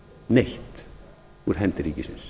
neitt úr hendi ríkisins